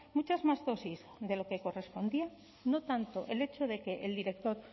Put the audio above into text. muchas más dosis de lo que correspondía no tanto el hecho de que el director